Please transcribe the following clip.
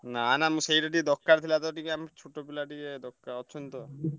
ନା ନା ମୁଁ ସେଇଟା ଟିକେ ଦ ରକାର ଥିଲା ତ ଟିକେ ଆମ ଛୋଟ ପିଲା ଟିକେ ଅଛନ୍ତି ତ।